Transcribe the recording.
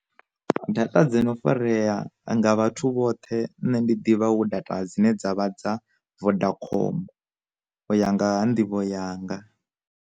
Data dzi no farea anga vhathu vhoṱhe nne ndi ḓivha hu data dzine dzavha dza vodakhom u ya nga ha nḓivho yanga.